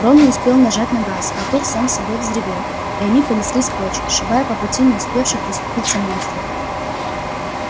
рон не успел нажать на газ мотор сам собой взревел и они понеслись прочь сшибая по пути не успевших расступиться монстров